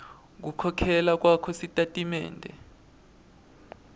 kukhokhela kwakho kusitatimende